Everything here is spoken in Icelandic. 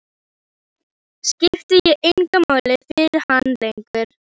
Skipti ég engu máli fyrir hann lengur?